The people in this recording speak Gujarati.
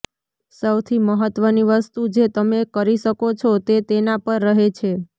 સૌથી મહત્વની વસ્તુ જે તમે કરી શકો છો તે તેના પર રહે છે